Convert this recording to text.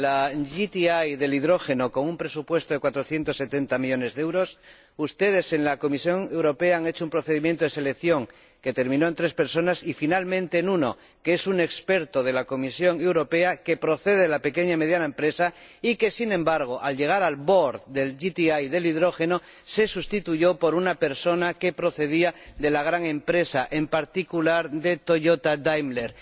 En la ITC del hidrógeno con un presupuesto de 470 millones de euros, ustedes, en la Comisión Europea, han hecho un procedimiento de selección que terminó con tres personas, y, finalmente, con una, que es un experto de la Comisión Europea que procede de la pequeña y mediana empresa y que, sin embargo, al llegar al consejo de administración de la ITC del hidrógeno fui sustituido por una persona que procedía de la gran empresa, en particular de Toyota Daimler.